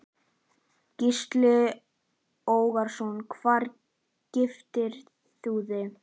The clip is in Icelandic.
Gísli Óskarsson: Hvar giftir þú þig?